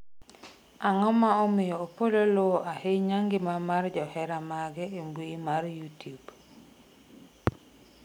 Ang'o ma omiyo Opollo luwo ahinya ngima mar johera mage e mbui mar youtube